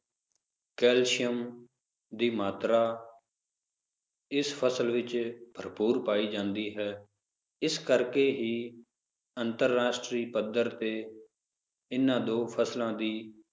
calcium ਦੀ ਮਾਤਰਾ ਇਸ ਫਸਲ ਵਿਚ ਭਰਪੂਰ ਪੈ ਜਾਂਦੀ ਹੈ ਇਸ ਕਰਕੇ ਹੀ ਅੰਤਰਰਾਸ਼ਟਰੀ ਪੱਧਰ ਤੇ ਇਹਨਾਂ ਦੋ ਫਸਲਾਂ ਦੀ